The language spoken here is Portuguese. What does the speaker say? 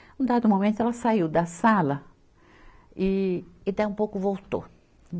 Em um dado momento, ela saiu da sala e, e daí um pouco voltou.